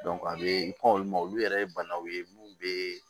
a bɛ i kɔn olu ma olu yɛrɛ ye banaw ye mun bɛ